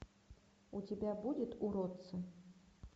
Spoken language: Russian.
у тебя будет уродцы